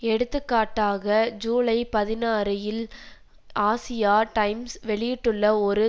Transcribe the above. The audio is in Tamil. எடுத்துக்காட்டாக ஜூலை பதினாறுஇல் ஆசியா டைம்ஸ் வெளியிட்டுள்ள ஒரு